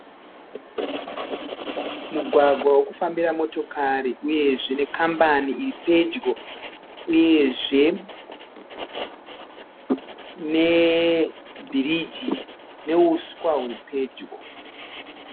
Mugwagwa wokufambira motokari uyezve nekambani iripedyo. Uyezve nebhiriji neuswa huripedyo.